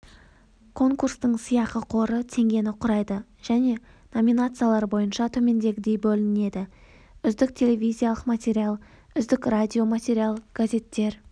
конкурстың сыйақы қоры теңгені құрайды және номинациялар бойынша төмендегідей бөлінеді үздік телевизиялық материал үздік радиоматериал газеттер